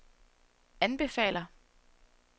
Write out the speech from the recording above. anbefaler